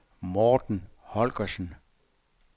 Morten Holgersen